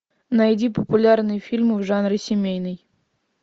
найди популярные фильмы в жанре семейный